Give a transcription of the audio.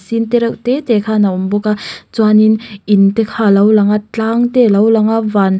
sin te reuh tete khan awm bawka chuanin in te kha lo langa tlang te lo langa van--